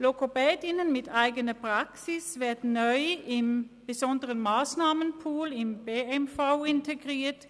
Logopädinnen mit eigener Praxis werden neu im besonderen Massnahmenpool, nach der Verordnung über die besonderen Massnahmen (BMV) integriert.